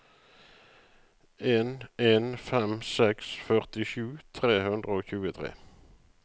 en en fem seks førtisju tre hundre og tjuetre